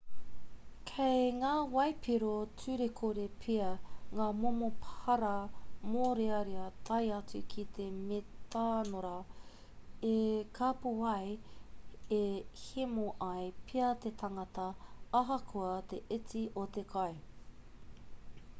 kei ngā waipiro turekore pea ngā momo para mōrearea tae atu ki te metanora e kāpō ai e hemo ai pea te tangata ahakoa te iti o te kai